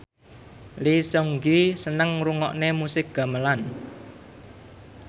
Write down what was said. Lee Seung Gi seneng ngrungokne musik gamelan